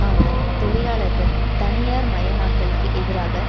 ஆனால் தொழிலாளர்கள் தனியார்மயமாக்கலுக்கு எதிராக